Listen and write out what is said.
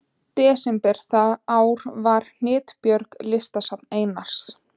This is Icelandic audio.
desember það ár var Hnitbjörg, listasafn Einars